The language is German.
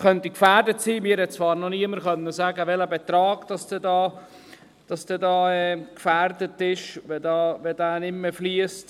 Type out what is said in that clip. Mir konnte zwar noch niemand sagen, welcher Betrag denn gefährdet wäre, wenn das nicht mehr fliesst.